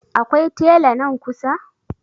Akwai tela nan kusa?